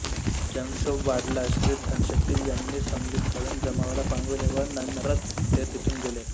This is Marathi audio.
जनक्षोभ वाढला श्री धनशेट्टी यांनी समजूत घालून जमावाला पांगविले व नंरच ते तेथून गेले